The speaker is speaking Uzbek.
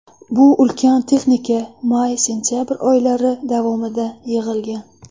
Bu ulkan texnika may-sentabr oylari davomida yig‘ilgan.